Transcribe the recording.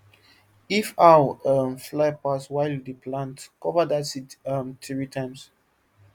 if owl um fly pass while you dey plant cover that seed um three times